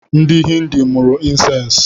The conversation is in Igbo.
Ndị hindu mụrụ insensi